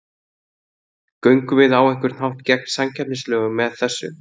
Göngum við á einhvern hátt gegn samkeppnislögum með þessu?